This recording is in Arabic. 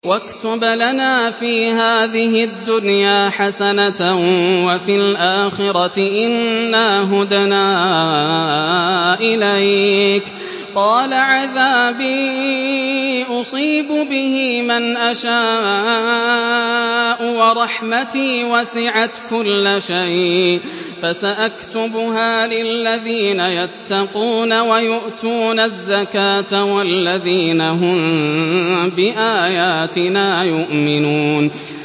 ۞ وَاكْتُبْ لَنَا فِي هَٰذِهِ الدُّنْيَا حَسَنَةً وَفِي الْآخِرَةِ إِنَّا هُدْنَا إِلَيْكَ ۚ قَالَ عَذَابِي أُصِيبُ بِهِ مَنْ أَشَاءُ ۖ وَرَحْمَتِي وَسِعَتْ كُلَّ شَيْءٍ ۚ فَسَأَكْتُبُهَا لِلَّذِينَ يَتَّقُونَ وَيُؤْتُونَ الزَّكَاةَ وَالَّذِينَ هُم بِآيَاتِنَا يُؤْمِنُونَ